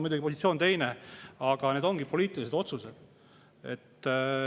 Nüüd teil on muidugi teine positsioon, aga need ongi poliitilised otsused.